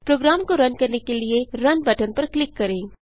programme को run करने के लिए रुन बटन पर क्लिक करें